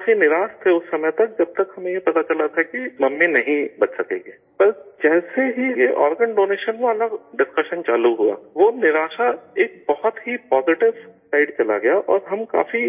ہم کافی مایوس تھے اس وقت تک جب تک ہمیں یہ پتہ چلا تھا کہ ممی نہیں بچ سکیں گی، مگر جیسے ہی یہ آرگن ڈونیشن والا ڈسکشن چالو ہوا وہ مایوسی ایک بہت ہی پازیٹو سائڈ چلی گئی اور ہم کافی